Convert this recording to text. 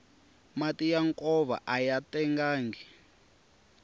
mati ya nkova aya tengangi